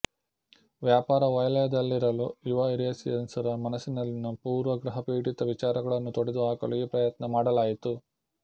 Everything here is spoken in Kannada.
ವ್ಯಾಪಾರ ವಲಯದಲ್ಲಿರಲು ಯುವ ಯುರೇಶಿಯನ್ಸ್ ರ ಮನಸ್ಸಿನಲ್ಲಿನ ಪೂರ್ವಾಗ್ರಹಪೀಡಿತ ವಿಚಾರಗಳನ್ನು ತೊಡೆದು ಹಾಕಲು ಈ ಪ್ರಯತ್ನ ಮಾಡಲಾಯಿತು